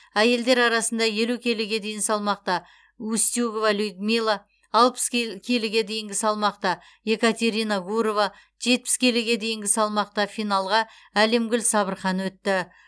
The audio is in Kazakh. әйелдер арасында елу келіге дейін салмақта устюгова людмила алпыс келіге дейінгі салмақта екатерина гурова жетпіс келіге дейінгі салмақта финалға әлемгүл сабырхан өтті